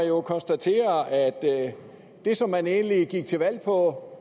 jo konstatere at det som man egentlig gik til valg på